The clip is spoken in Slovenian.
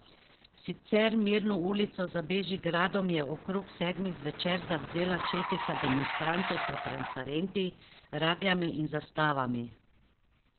Sicer mirno ulico za Bežigradom je okrog sedmih zvečer zavzela četica demonstrantov s transparenti, ragljami in zastavami.